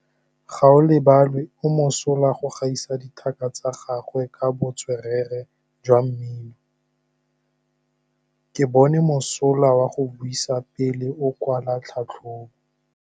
Gaolebalwe o mosola go gaisa dithaka tsa gagwe ka botswerere jwa mmino. Ke bone mosola wa go buisa pele o kwala tlhatlhobô.